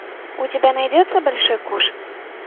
у тебя найдется большой куш